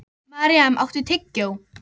Maríam, áttu tyggjó?